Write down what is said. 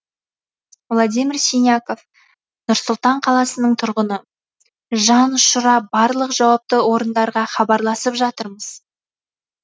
владимир синяков нұр сұлтан қаласының тұрғыны жан ұшыра барлық жауапты орындарға хабарласып жатырмыз